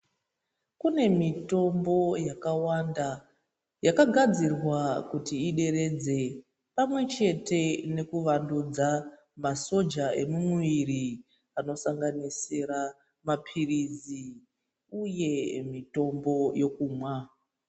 Kune mitombo yakawanda yakagadzirwa kuti ideredze pamwe chete nekuvandudza masoja emumuviri anosanganisira mapirizi uye mitombo yokumwa.